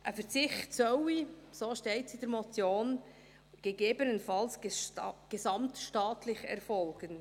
Ein Verzicht solle, so steht es in der Motion, «gegebenenfalls gesamtstaatlich» erfolgen.